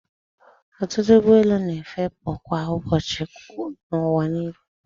Ọtụtụ ụgbọelu na-efepụ kwa ụbọchị n'ụwa niile.